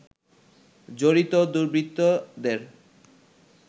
জড়িত দুর্বৃত্তদের